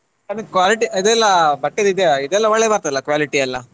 Quality ಇದೆಲ್ಲ ಬಟ್ಟೆದ್ ಇದೆಲ್ಲ ಒಳ್ಳೆ ಬರ್ತದಲ್ಲ quality ಎಲ್ಲ.